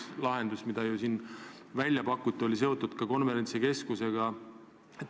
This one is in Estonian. Üks lahendus, mida välja on pakutud, on seotud konverentsikeskusega.